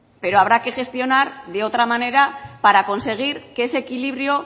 pero habrá que gestionar de otra manera para conseguir que ese equilibrio